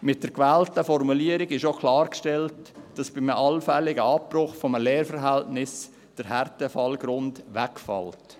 Mit der gewählten Formulierung ist auch klargestellt, dass bei einem allfälligen Abbruch eines Lehrverhältnisses der Härtefallgrund wegfällt.